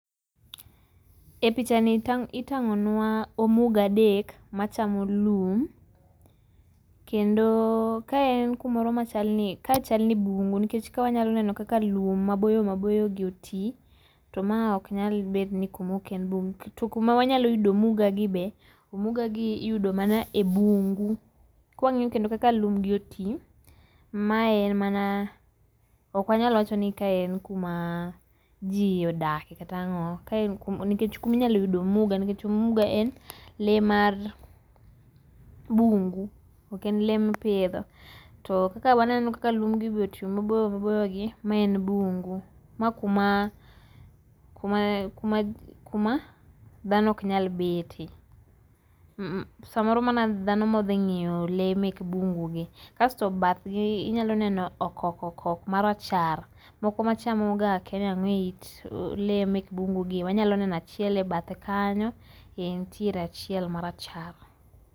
E pichani tang',,itangonwa omuga adek machamo lum kendo kaen kumoro machalo ni, ka chal ni bungu nikech ka wanyalo neno kaka lum maboyo maboyo otii, to ma ok nyal bedo kuma oken bungu. To kuma wanyalo yudo omuga gi be, omuga nyalo mana yudo e bungu kawangiyo kendo kaka lum gi otii ,mae en mana, ok wanyal wachoni kae en kuma jii odake kata ango, ka en kuma inyalo yude omuga, nikech omuga en lee mar bungu oken lee ma ipidho. To kaka waneno kaka lumgi be otii maboyo maboyo gi mae en bungu ma kuma ,kuma, kuma, kuma dhano ok nyal bete, mmm samoro mana dhano modhi ng’iye lee mek bungu gi. Kasto bende bathgi wanyalo neno okok okok marachar, moko machamogo akiani ango e it lee mek bungu gi, wanyalo neno achiel e bathe kanyo, nitie achiel marachar